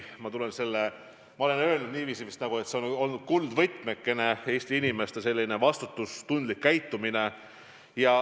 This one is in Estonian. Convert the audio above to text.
Ma vist juba olen öelnud, et meie kuldvõtmekene on olnud Eesti inimeste vastutustundlik käitumine.